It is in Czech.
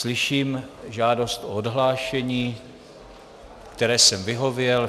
Slyším žádost o odhlášení, které jsem vyhověl.